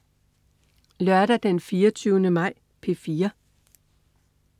Lørdag den 24. maj - P4: